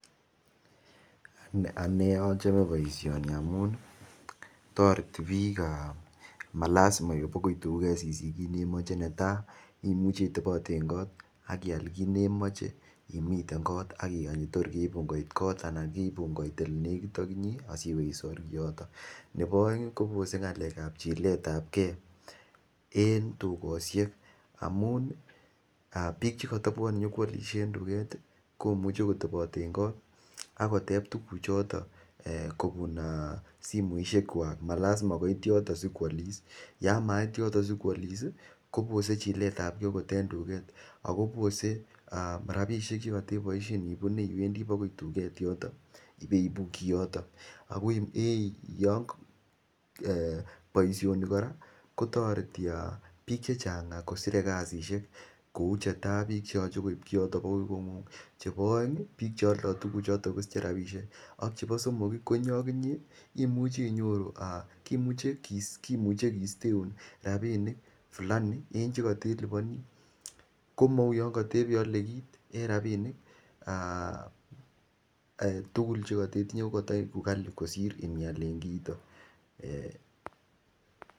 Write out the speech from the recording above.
Ane achome boisioni amun toreti piikab malazima duket sisich kiit nemoche, netai imuchi itobote en got ak ilal kit ne nemoche imiten kot ak igany tor keibun koit kot anan keibun koit ole nekit ak inye asi iwe isor kiyoto, nebo aeng kobose ngalekab chiletabge , en dukosiek amun piik che kotobwone nyokoalisie en duket ii komuche kotobot en kot ak koteb tukuchoto um kobun um simoisiekwak, malazima koit yoto si koalis, yamait yoto si koalis ii, kobose chiletab ge agot en dukek ako bose um ako bose um rabiisiek che koteboisien ibune iwendi bakoi dukek yoto ibeibu kiyoto, boisioni kora kotoreti piik chechang kosire kasisiek kou che tai piik che yoche koib kiyoto akoi koingungung, chebo aeng piik che aldo kiyoto kosiche rabinik ak chebo somok ii ak inye imuche inyoru um kiisteun rabinik fulani eng che kotelibani komou yon kotebeiyolo kiit eng rabinik um tugul che ketinye kotoiku kali kosir inial en kiito um.